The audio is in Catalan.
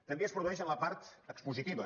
també es produeix en la part expositiva